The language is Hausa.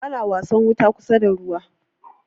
ana wasan wuta kusa da ruwa